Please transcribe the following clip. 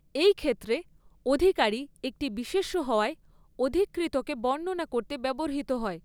এই ক্ষেত্রে অধিকারী একটি বিশেষ্য হওয়ায়, অধিকৃতকে বর্ণনা করতে ব্যবহৃত হয়।